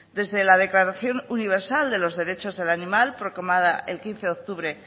desde la declaración universal de los derechos del animal proclamada el quince de octubre